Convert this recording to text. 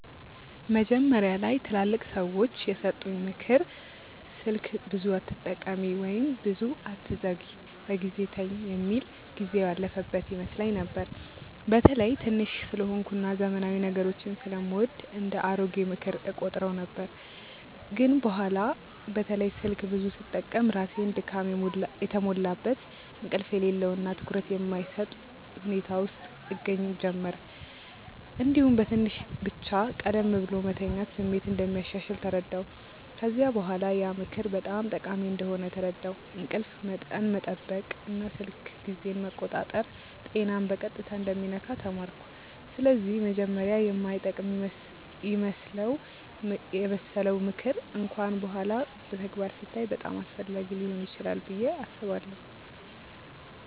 መጀመሪያ ላይ ትላልቅ ሰዎች የሰጡኝ “ምክር ስልክ ብዙ አትጠቀሚ” ወይም “ብዙ አትዘግይ በጊዜ ተኝ” የሚል ጊዜው ያለፈበት ይመስለኝ ነበር። በተለይ ትንሽ ስለሆንኩ እና ዘመናዊ ነገሮችን ስለምወድ እንደ “አሮጌ ምክር” እቆጥረው ነበር። ግን በኋላ በተለይ ስልክ ብዙ ስጠቀም ራሴን ድካም የተሞላበት፣ እንቅልፍ የሌለው እና ትኩረት የማይሰጥ ሁኔታ ውስጥ እገኛ ጀመርሁ። እንዲሁም በትንሽ ብቻ ቀደም ብሎ መተኛት ስሜት እንደሚያሻሽል ተረዳሁ። ከዚያ በኋላ ያ ምክር በጣም ጠቃሚ እንደሆነ ተረዳሁ፤ እንቅልፍ መጠን መጠበቅ እና ስልክ ጊዜን መቆጣጠር ጤናን በቀጥታ እንደሚነካ ተማርኩ። ስለዚህ መጀመሪያ የማይጠቅም ይመስለው ምክር እንኳን በኋላ በተግባር ሲታይ በጣም አስፈላጊ ሊሆን ይችላል ብዬ አስባለሁ።